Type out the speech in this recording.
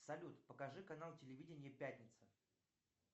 салют покажи канал телевидения пятница